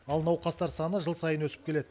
ал науқастар саны жыл сайын өсіп келеді